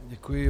Děkuji.